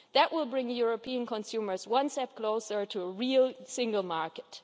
That will bring European consumers one step closer to a real single market.